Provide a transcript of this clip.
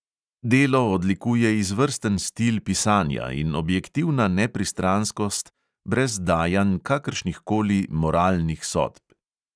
Delo odlikuje izvrsten stil pisanja in objektivna nepristranskost brez dajanj kakršnihkoli moralnih sodb.